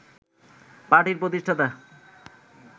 পার্টির প্রতিষ্ঠাতা